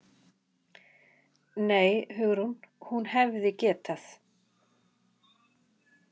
Nei, Hugrún, hún hefði getað.